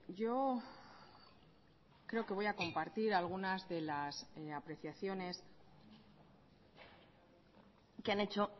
yo creo que voy a compartir algunas de las apreciaciones que han hecho